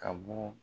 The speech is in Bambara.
Ka bɔ